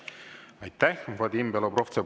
Aitäh, Vadim Belobrovtsev!